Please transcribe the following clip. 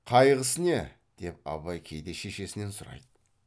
қайғысы не деп абай кейде шешесінен сұрайды